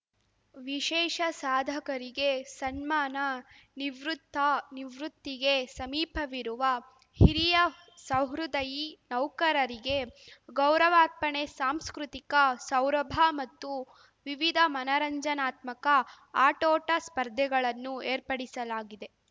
ವಿಶೕಷ ಸಾಧಕರಿಗೆ ಸನ್ಮಾನ ನಿವೃತ್ತ ನಿವೃತ್ತಿಗೆ ಸಮೀಪವಿರುವ ಹಿರಿಯ ಸಹೃದಯಿ ನೌಕರರಿಗೆ ಗೌರವಾರ್ಪಣೆ ಸಾಂಸ್ಕೃತಿಕ ಸೌರಭ ಮತ್ತು ವಿವಿಧ ಮನರಂಜನಾತ್ಮಕ ಆಟೋಟ ಸ್ಪರ್ಧೆಗಳನ್ನು ಏರ್ಪಡಿಸಲಾಗಿದೆ